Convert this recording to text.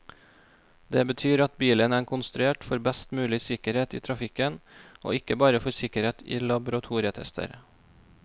Det betyr at bilen er konstruert for best mulig sikkerhet i trafikken, og ikke bare for sikkerhet i laboratorietester.